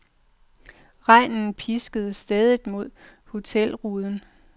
Regnen pisker stædigt mod hotelruden.